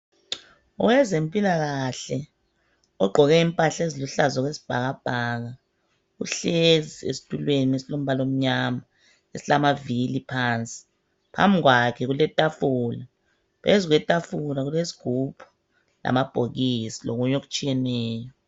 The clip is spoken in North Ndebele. Owezempilakahle ogqoke impahla eziluhlaza okwesibhakabhaka uhlezi esitulweni esilombala omnyama esilamavili phansi, phambi kwakhe kuletafula phezu kwetafula kulesigubhu lamabhokisi lokunye okutshiyeneyo.